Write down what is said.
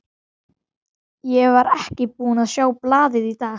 Ég var ekki búinn að sjá blaðið í dag.